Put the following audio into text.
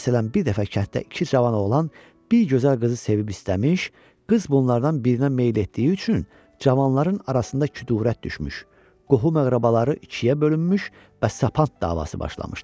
Məsələn, bir dəfə kənddə iki cavan oğlan bir gözəl qızı sevib istəmiş, qız bunlardan birinə meyl etdiyi üçün cavanların arasında küdurət düşmüş, qohum-əqrəbaları ikiyə bölünmüş və sapant davası başlamışdı.